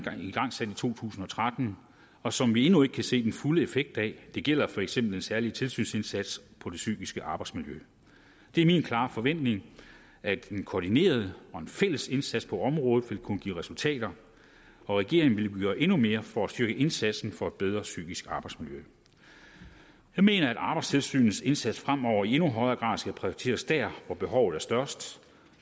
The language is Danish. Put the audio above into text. to tusind og tretten og som vi endnu ikke kan se den fulde effekt af det gælder for eksempel den særlige tilsynsindsats på det psykiske arbejdsmiljø det er min klare forventning at en koordineret og en fælles indsats på området vil kunne give resultater og regeringen vil gøre endnu mere for at styrke indsatsen for et bedre psykisk arbejdsmiljø jeg mener at arbejdstilsynets indsats fremover i endnu højere grad skal prioriteres der hvor behovet er størst